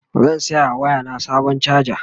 zan saya wa waya na Sabon chaja